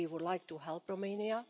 So we would like to help Romania.